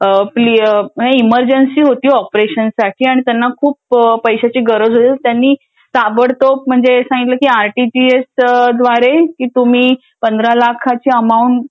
म्णजे इमर्जन्सी होती .तिथे ऑपरेशन साठी आणि त्यांना खूप पैशाची गरज होती.त त्यांनी तो म्हणजे ताबडतोब म्हणजे तेच सांगितलं की आरटीजीएस द्वारे तुम्ही पंधरा लाखाच्या अमाऊंट